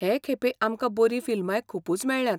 हे खेपे आमकां बरीं फिल्मांय खुबूच मेळ्ळ्यांत.